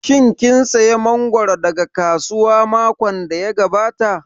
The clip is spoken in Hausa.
Shin kin saya mangoro daga kasuwa makon da ya gabata?